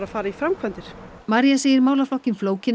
farið í framkvæmdir María segir málaflokkinn flókinn